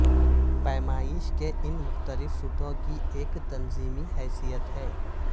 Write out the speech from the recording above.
پیمائش کے ان مختلف سطحوں کی ایک تنظیمی حیثیت ہے